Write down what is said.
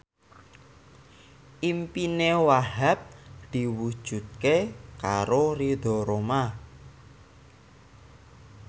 impine Wahhab diwujudke karo Ridho Roma